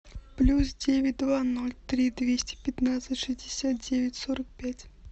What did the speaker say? плюс девять два ноль три двести пятнадцать шестьдесят девять сорок пять